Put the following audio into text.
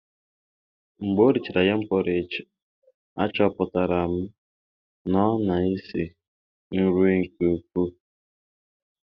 Mgbe o richara yam porridge, achọpụtara m na ọ na-esi nri nke ukwuu.